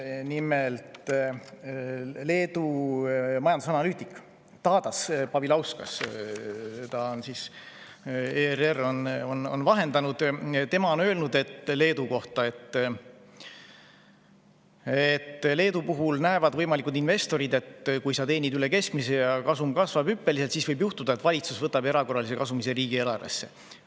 Nimelt, Leedu majandusanalüütik Tadas Povilauskas on ERR‑i vahendusel öelnud, et Leedu puhul näevad võimalikud investorid, et kui sa teenid üle keskmise ja see kasvab hüppeliselt, siis võib juhtuda, et valitsus võtab erakorralise kasumi riigieelarvesse.